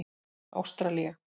Ástralía